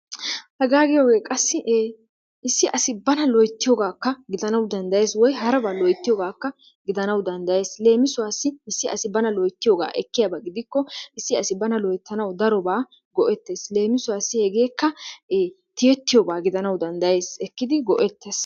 Haga giyogee issi assi bana loytiyogakka gidanawu dandayessi woykko harabba loytiyogakka gidanawu dandayessi, lemisuwassi issi asi bana loytiyogaa ekiyabaa gidikko, issi assi bana loytanwu daroba go'ettes lemisueassi, hegekka tiyetyoba gidanawu dandayessi, ekiddi go'ettes.